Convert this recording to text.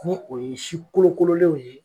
N'o o ye si kolokololenw ye